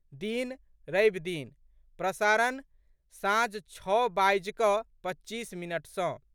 दिन, रविदिन, प्रसारण, साँझ छओ बाजि कऽ पच्चीस मिनट सँ